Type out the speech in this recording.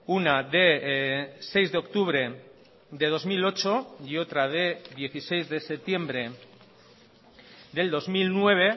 una de seis de octubre de dos mil ocho y otra de dieciséis de septiembre del dos mil nueve